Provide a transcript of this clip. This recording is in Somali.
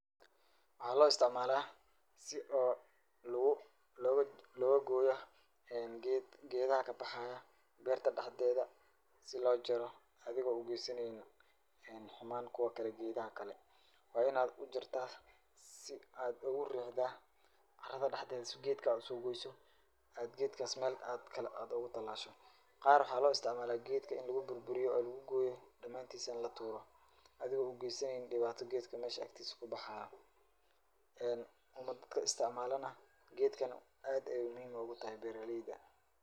Waxa loo isticmala si oo ged loga goyo ,melaha ,qaar waxa lo isticmala si gedka loga goyo oo gedkas mel ugu talasho oo aad u wanagsan oo beraleyda. Adhigo dibata aad u geysanin gedka mesha agtisa kabaxaye marka dadka isticmalana gedkan ayu muhim ugu yahay dadka beraleyda.